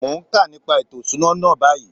Mo n ka nípa ètò ìṣúná náà báyìí.